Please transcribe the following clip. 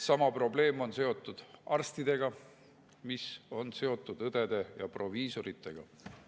Sama probleem, mis on õdede ja proviisoritega, on seotud arstidega.